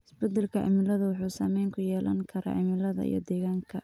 Isbedelka cimiladu wuxuu saameyn ku yeelan karaa cimilada iyo deegaanka.